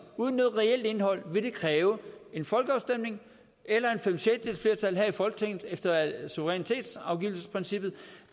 uden noget reelt indhold vil det kræve en folkeafstemning eller fem sjettedeles flertal her i folketinget efter suverænitetsafgivelsesprincippet